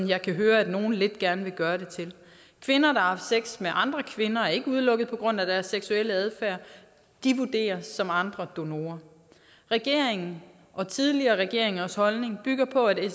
jeg kan høre nogle gerne vil gøre det til kvinder der har sex med andre kvinder er ikke udelukket på grund af deres seksuelle adfærd de vurderes som andre donorer regeringen og tidligere regeringers holdning bygger på at det